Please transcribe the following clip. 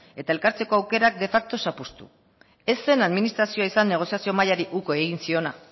eta elkartzeko aukerak de facto zapuztu ez zen administrazioa izan negoziazio mahaiari uko egin ziona